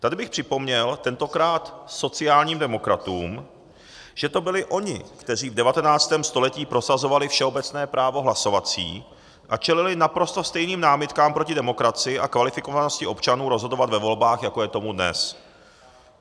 Tady bych připomněl tentokrát sociálním demokratům, že to byli oni, kteří v 19. století prosazovali všeobecné právo hlasovací a čelili naprosto stejným námitkám proti demokracii a kvalifikovanosti občanů rozhodovat ve volbách, jako je tomu dnes.